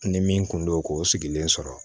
Ni min kun don ko o sigilen sɔrɔ